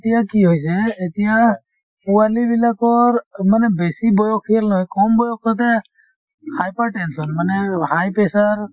এতিয়া কি হৈছে এতিয়া পোৱালি বিলাকৰ বেছি বয়সীয়াল নহয় কম বয়সতে hypertension মানে high pressure